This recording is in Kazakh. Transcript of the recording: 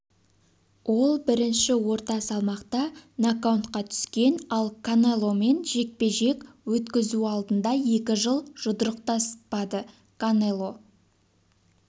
ол бірінші орта салмақта нокаутқа түскен ал канеломен жекпе-жек өткізу алдында екі жыл жұдырықтаспады канело